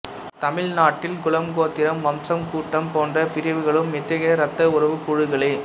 தமிழ் நாட்டில் குலம் கோத்திரம் வம்சம் கூட்டம் போன்ற பிரிவுகளும் இத்தகைய இரத்த உறவுக் குழுக்களே